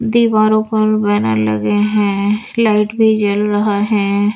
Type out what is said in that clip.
दीवारों पर बैनर लगे हैं लाइट भी जल रहा है।